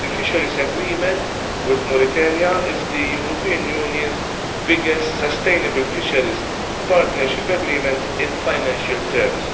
The Fisheries Agreement with Mauritania is the European Union's biggest sustainable fisheries partnership agreement in financial terms.